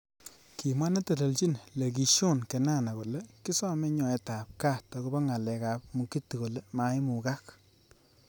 Kimwa neteleljin Lekishon Kenana kole kisomei nyoet ab kat akobo ngalek ab Mugithi kole maimukak.